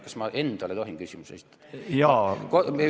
Kas ma endale tohin küsimuse esitada?